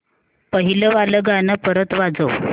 पहिलं वालं गाणं परत वाजव